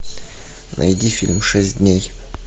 найди фильм шесть дней